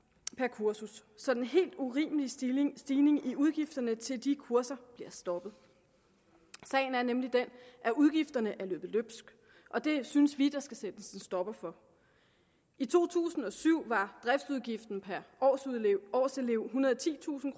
kursus så den helt urimelige stigning stigning i udgifterne til de kurser bliver stoppet sagen er nemlig den at udgifterne er løbet løbsk og det synes vi der skal sættes en stopper for i to tusind og syv var driftsudgiften per årselev årselev ethundrede og titusind